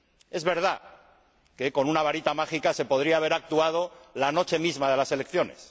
Es verdad que con una varita mágica se podría haber actuado la noche misma de las elecciones.